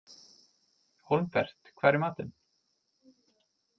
Hólmbert, hvað er í matinn?